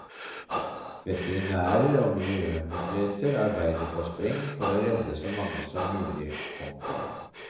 Veterinærer og miljømyndigheter arbeider på spreng for å redde så mange som mulig. punktum